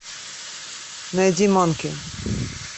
найди манки